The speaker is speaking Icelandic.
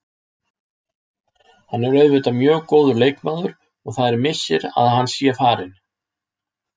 Hann er auðvitað mjög góður leikmaður og það er missir að hann sé farinn.